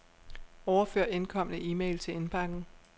Overfør indkomne e-mail til indbakken.